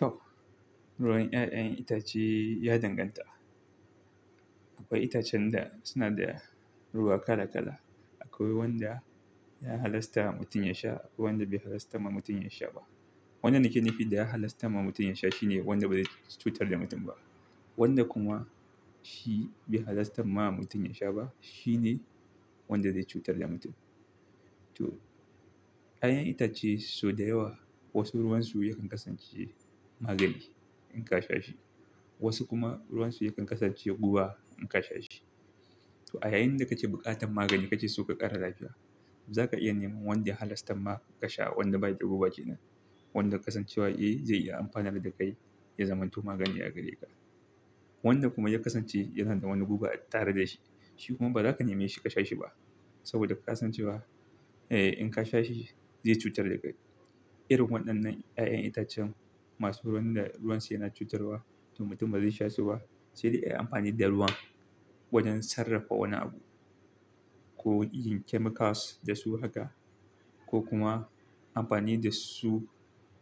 To, ruwan 'ya'yan itace ya danganta. Akwai itacen da suna da ruwa kala-kala. Akwai wanda ya halasta mutum yasha, akwai wanda bai halasta ma mutum yasha ba. Wannan nake nifi da ya halasta ma mutum yasha shine wanda ba zai cutar da mutum ba. Wanda kuma shi bai halasta ma mutum yasha ba shine wanda zai cutar da mutum. To, 'ya'yan itace sau da yawa wasu ruwan su yakan kasance magani in ka sha shi, wasu kuma ruwan su yakan kasance guba in ka sha shi. To, a yayin da kace buƙatar magani kace suka ƙara lafiya, za ka iya neman wanda halasta ma ka sha. Wanda bayi da guba kenan, wanda kasancewa yake zai iya amfanar da kai ya zamanto magani a gare ka. Wanda kuma ya kasance yana da wani guba a tare da shi, shi kuma ba za ka nema shi ka sha shi ba saboda ka san cewa eh in ka sha shi zai cutar da kai. Irin waɗannan 'ya'yan itacen masu ruwan da ruwan su yana cutarwa to mutum ba zai sha su ba, sai dai ayi amfani da ruwan wajen sarrafa wani abu ko yin chemicals da su haka ko kuma amfani da su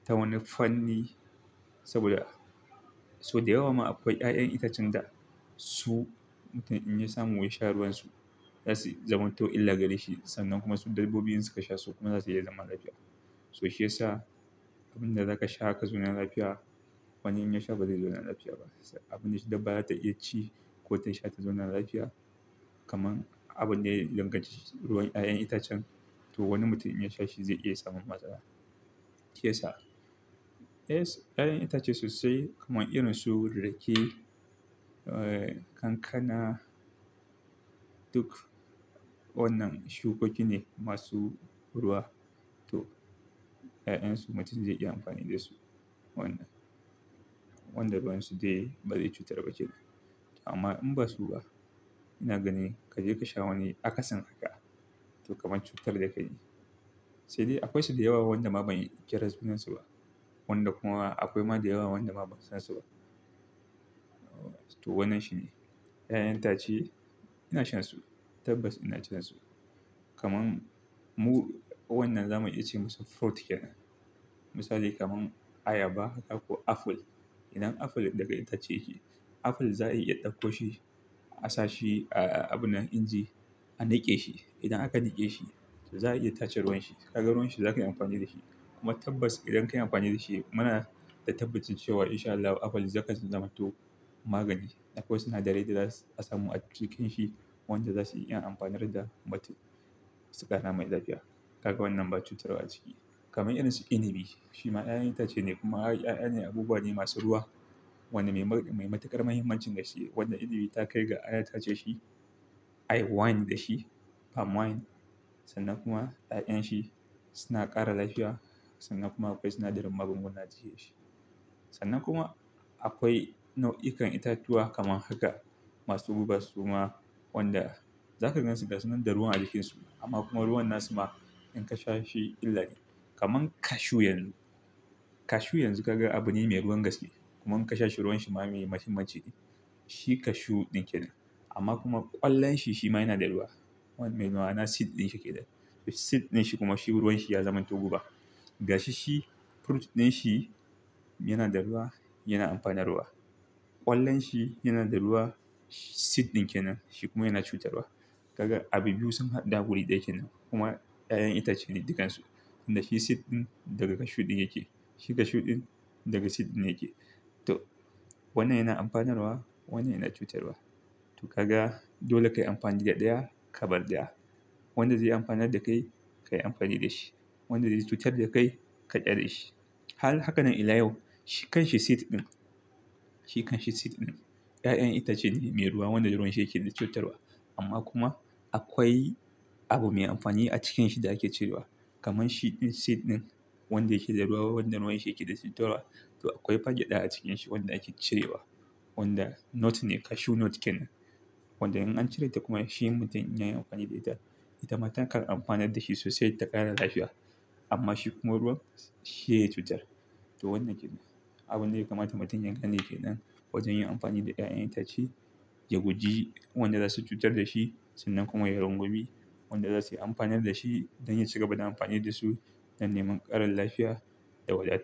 ta wani fanni. Saboda sau da yawa ma akwai 'ya'yan itacen da su mutum in ya samu ya sha ruwan su zasu zamanto illa gare shi sannan kuma su dabbobin in suka sha su kuma zasu iya zama lafiya. To shiyasa abin da za ka sha ka zauna lafiya wani in ya sha ba zai zauna lafiya ba. Abin da dabba za ta iya ci ko ta sha ta zauna lafiya kamar abin da ya danganci ruwan 'ya'yan itacen to wani mutum in ya sha shi zai iya samun matsala. Shiyasa 'ya'yan itace sosai kamar irin su rake, eh kankana, duk wannan shukoki ne masu ruwa to 'ya'yan su mutum zai iya amfani da su. Wanda kuma ya kasance yana da wani guba a tare da shi, shi kuma ba za ka nema shi ka sha shi ba saboda ka san cewa eh in ka sha shi zai cutar da kai. Amma in ba su ba ina ganin ka je ka sha wani akasin haka to kamar cutar da kai ne. Sai dai akwai su da yawa wanda ma ban kira sunansu ba. Wanda kuma akwai ma da yawa wanda ma ban san su ba. To wannan shine 'ya'yan itace ina shan su, tabbas ina cin su. Kaman mu wannan zamu iya ce masa fruit kenan. Misali kamar ayaba ko apple. Idan apple daga itace yake, apple za a iya ɗauko shi a sa shi a abin nan inji a niƙe shi. Idan aka nake shi to za a iya tace ruwan shi. Ka ga ruwan shi za ka iya amfani da shi kuma tabbas idan ka yi amfani da shi muna da tabbacin cewa in sha Allah apple zaka ci zamanto magani. Akwai sinadarai da za a samu a cikin shi wanda za su iya amfanar da mutum su kara mai lafiya. Kaga wannan ba cutarwa a ciki. Kaman irin su inibi shima 'ya'yan itace ne kuma 'ya'yan abubuwa ne masu ruwa wanda mai matuƙar muhimmancin da shi wanda inibi ta kai ga ana tace shi, a yi wine da shi, palmwine sannan kuma 'ya'yan shi suna ƙara lafiya sannan kuma akwai sinadarin magunguna a cikin shi. Sannan kuma akwai nau'ikan itatuwa kamar haka masu guba suma wanda za ka gansu gasu nan da ruwan a jikin su amma kuma ruwan na su ma in ka sha shi illa ne. Kaman cashew yanzu. Cashew yanzu kaga abu ne mai ruwan gaske kuma in ka sha shi ruwan shi ma mai muhimmanci ne. Shi cashew ɗin kenan amma kuma ƙwallon shi shima yana da ruwa. Wani mai nawa na seed ɗin shi yake nan. Seed ɗin shi kuma shi ruwan shi ya zamanto guba. Ga shi shi fruit ɗin shi yana da ruwa, yana amfanarwa. Ƙwallon shi yana da ruwa, seed ɗin kenan shi kuma yana cutarwa. Kaga abu biyu sun haɗu a wuri ɗaya kenan kuma 'ya'yan itace ne dukansu. Tunda shi seed ɗin daga cashew ɗin yake shi cashew ɗin daga seed ɗin yake. To wannan yana amfanarwa wannan yana cutarwa. To kaga dole ka yi amfani da ɗaya, ka bar ɗaya. Wanda zai yi amfanar da kai ka yi amfani da shi. Wanda zai cutar da kai ka ƙyale shi. Har hakanen ila yau shi kan shi seed ɗin. Shi kan shi seed ɗin 'ya'yan itace ne mai ruwa wanda ruwan shi yake da cutarwa amma kuma akwai abu mai amfani a cikin shi da ake cirewa. Kaman shi ɗin seed ɗin wanda yake da ruwa wanda ruwan shi yake da cutarwa to akwai fa gyada a cikin shi wanda ake cirewa wanda nut ne cashew nut kenan. Wanda in an cire ta kuma shi mutum in ya yi amfani da ita, ita ma takan amfanar da shi sosai ta ƙara lafiya amma shi kuma ruwan shi yake cutar. To wannan kenan. Abun da yakamata mutum ya gane kenan wajen yin amfani da 'ya'yan itace ya guji wanda za su cutar da shi sannan kuma ya rungumi wanda za su yi amfanar da shi don ya ci gaba da amfani da su don neman ƙarin lafiya da wadata.